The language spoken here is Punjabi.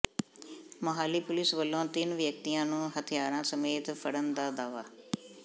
ਮੋਹਾਲੀ ਪੁਲਿਸ ਵੱਲੋਂ ਤਿੰਨ ਵਿਅਕਤੀਆਂ ਨੂੰ ਹਥਿਆਰਾਂ ਸਮੇਤ ਫੜਨ ਦਾ ਦਾਅਵਾ